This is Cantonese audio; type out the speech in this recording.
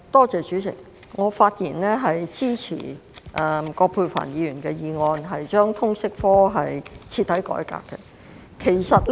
主席，我發言支持葛珮帆議員"徹底改革通識教育科"的議案。